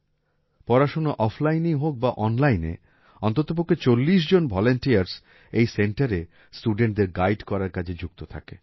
পড়াশোনা offlineএই হোক বা onlineএ অন্ততপক্ষে ৪০ জন ভলান্টিয়ার্স এই centreএ studentদের গাইড করার কাজে যুক্ত থাকে